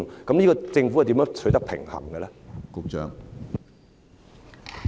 就此，政府如何取得平衡呢？